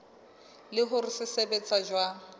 le hore se sebetsa jwang